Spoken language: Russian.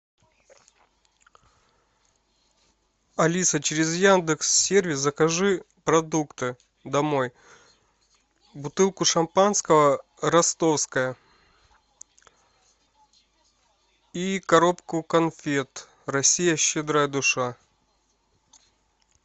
алиса через яндекс сервис закажи продукты домой бутылку шампанского ростовское и коробку конфет россия щедрая душа